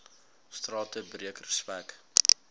strate breek respek